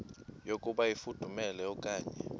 yokuba ifudumele okanye